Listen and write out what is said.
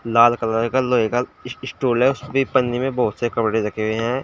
लाल colour का लोहे का इस स्टूल है उसके पंजे में बहोत से कपड़े रखे हुए हैं।